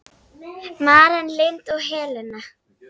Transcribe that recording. Maren Lind og Helena.